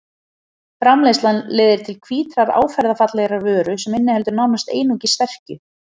Framleiðslan leiðir til hvítrar áferðarfallegrar vöru sem inniheldur nánast einungis sterkju.